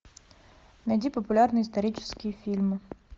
найди популярные исторические фильмы